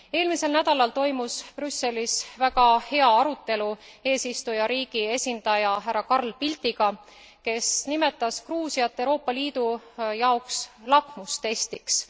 Eelmisel nädalal toimus Brüsselis väga hea arutelu eesistujariigi esindaja härra Carl Bildtiga, kes nimetas Gruusiat Euroopa Liidu jaoks lakmustestiks.